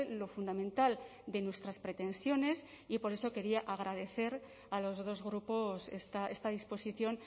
lo fundamental de nuestras pretensiones y por eso quería agradecer a los dos grupos esta disposición